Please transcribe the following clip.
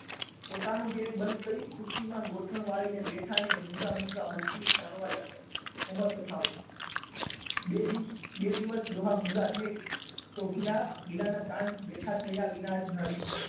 પોતાનું tap બંધ કરી ખુરશીમાં ગોઠણ વાળી ને બેઠા અને મુંગા મુંગા હુકલી તાણવા લાગ્યા અમરકથાઓ બે દિવસ બે દિવસ ડોહા મુંગા રહે તો ગિલા ગિલા ના કાન બેઠા થયા વગર ન રહે